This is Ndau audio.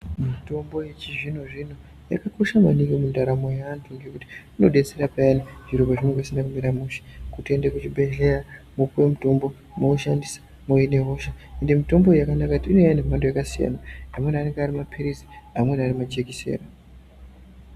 Mitombo yechizvino zvino yakakosha maningi ngekuti inodetsere payane muntu paanenge eizwa hosha otoenda kuchibhedhleya opuwe mutombo oushandise kuzvina hosha. Ende mitombo iyi yakanaka maningi ngekuti inouya iri mumbando yakasiyana siyana, amweni anenge ari mapirisi amweni ari majikiseni.